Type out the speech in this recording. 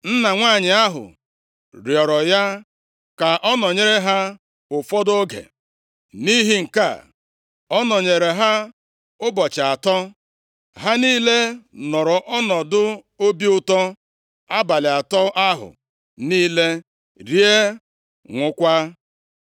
Nna nwanyị ahụ rịọrọ ya ka ọ nọnyere ha ụfọdụ oge. Nʼihi nke a, ọ nọnyeere ha ụbọchị atọ. Ha niile nọrọ ọnọdụ obi ụtọ abalị atọ ahụ niile, rie ṅụọkwa.